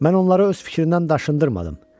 Mən onları öz fikrindən daşındırmadım.